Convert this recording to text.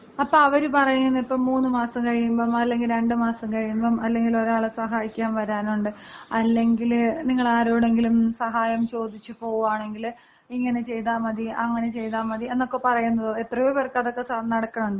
അപ്പൊ അവര് പറയണ് മൂന്നുമാസം കഴിയുമ്പം, അല്ലെങ്കില് രണ്ടുമാസം കഴിയുമ്പം, അല്ലെങ്കില് ഒരാളെ സഹായിക്കാൻ വരാനുണ്ട്, അല്ലെങ്കില് നിങ്ങൾ ആരോടെങ്കിലും സഹായം ചോദിച്ച് പോകുവാണെങ്കില് ഇങ്ങനെ ചെയ്താൽ മതി, അങ്ങനെ ചെയ്താൽ മതി എന്നൊക്കെ പറയുന്നതൊ. എത്രയോ പേർക്ക് അതൊക്കെ നടക്കണുണ്ട്.